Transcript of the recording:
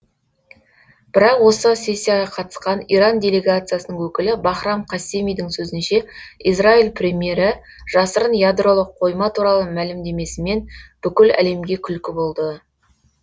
бірақ осы сессияға қатысқан иран делегациясының өкілі бахрам қассемидің сөзінше израиль премьері жасырын ядролық қойма туралы мәлімдемесімен бүкіл әлемге күлкі болды